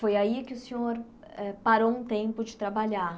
Foi aí que o senhor parou um tempo de trabalhar.